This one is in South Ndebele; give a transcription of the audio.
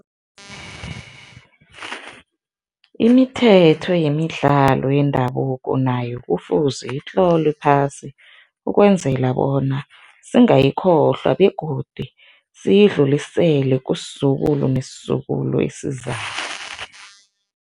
Imithetho yemidlalo yendabuko nayo kufuze itlolwe phasi ukwenzela bona singayikhohlwa begodu siyidlulisele kusizukulu nesizukulu esizako.